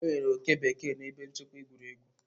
Enwere oke bekee na ebe nchekwa egwuregwu.